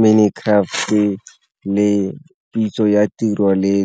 Minicraft-e le pitso ya tiro le .